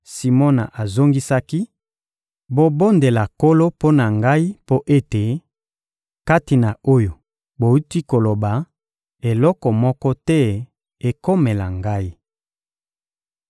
Simona azongisaki: — Bobondela Nkolo mpo na ngai mpo ete, kati na oyo bowuti koloba, eloko moko te ekomela ngai.